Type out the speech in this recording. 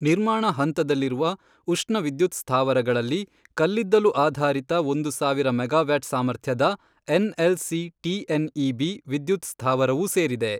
ನಿರ್ಮಾಣ ಹಂತದಲ್ಲಿರುವ ಉಷ್ಣ ವಿದ್ಯುತ್ ಸ್ಥಾವರಗಳಲ್ಲಿ, ಕಲ್ಲಿದ್ದಲು ಆಧಾರಿತ ಒಂದು ಸಾವಿರ ಮೆಗಾವ್ಯಾಟ್ ಸಾಮರ್ಥ್ಯದ ಎನ್ಎಲ್ಸಿ ಟಿಎನ್ಇಬಿ ವಿದ್ಯುತ್ ಸ್ಥಾವರವೂ ಸೇರಿದೆ.